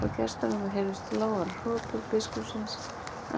Frá gestarúminu heyrðust lágværar hrotur biskupsins